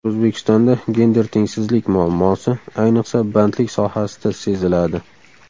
O‘zbekistonda gender tengsizlik muammosi, ayniqsa, bandlik sohasida seziladi.